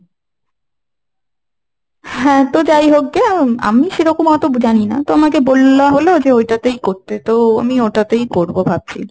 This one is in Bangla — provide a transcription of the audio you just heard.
হ্যাঁ তো যাইহোক গে, আমি সেরকম অতো জানিনা। তো আমাকে বল্লা হলো যে ওটা তেই করতে, তো আমি ওটাতেই করব ভাবছি।